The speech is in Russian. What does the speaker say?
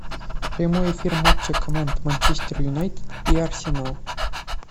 прямой эфир матча команд манчестер юнайтед и арсенал